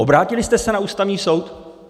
Obrátili jste se na Ústavní soud?